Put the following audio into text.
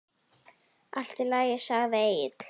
Allt í lagi, segir Egill.